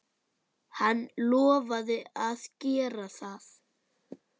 Hann lofaði að gera það.